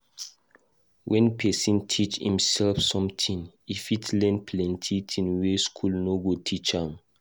When pesin teach imsef something, e fit learn plenty tin wey school no go teach am.